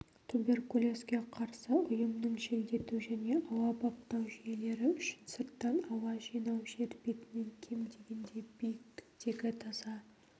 туберкулезге қарсы ұйымның желдету және ауа баптау жүйелері үшін сырттан ауа жинау жер бетінен кем дегенде биіктіктегі таза